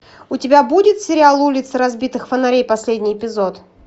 у тебя будет сериал улицы разбитых фонарей последний эпизод